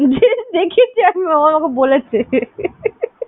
দেখেছি আমি ও আমাকে বলেছে